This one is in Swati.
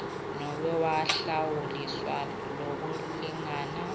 nobe wahlawuliswa lokulingana